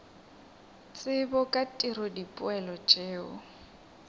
tsebo ka tiro dipoelo tšeo